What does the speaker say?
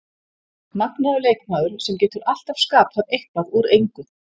Magnaður leikmaður sem getur alltaf skapað eitthvað úr engu.